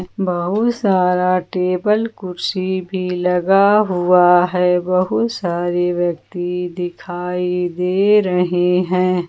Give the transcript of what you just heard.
बहुत सारा टेबल कुर्सी भी लगा हुआ हैं बहुत सारे व्यक्ति दिखाई दे रहे है।